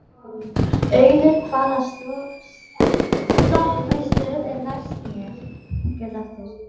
Auður, hvaða stoppistöð er næst mér?